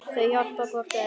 Þau hjálpa hvort öðru.